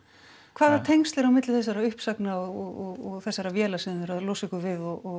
hvaða tengsl eru á milli uppsagnanna og þessara véla sem þið eruð að losa ykkur við og